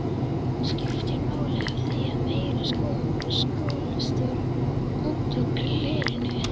skiptir máli af því að meira skolast út úr glerinu.